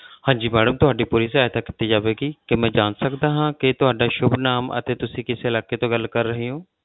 ਹਾਂਜੀ madam ਤੁਹਾਡੀ ਪੂਰੀ ਸਹਾਇਤਾ ਕੀਤੀ ਜਾਵੇਗੀ ਕੀ ਮੈਂ ਜਾਣ ਸਕਦਾ ਹਾਂ ਕਿ ਤੁਹਾਡਾ ਸੁੱਭ ਨਾਮ ਅਤੇ ਤੁਸੀਂ ਕਿਸ ਇਲਾਕੇ ਤੋਂ ਗੱਲ ਕਰ ਰਹੇ ਹੋ?